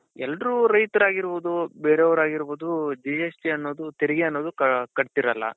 ಎಲ್ರು ರೈತರು ಆಗಿರ್ಬಹುದು ಬೇರೆಯವರು ಆಗಿರ್ಬಹುದು GST ಅನ್ನೋದು ತೆರಿಗೆ ಅನ್ನೋದು ಕಟ್ತೀರಲ್ಲಾ?